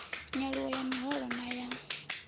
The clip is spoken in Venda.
nyaluwo ya miholo na ya